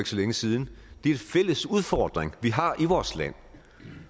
så længe siden det er en fælles udfordring vi har i vores land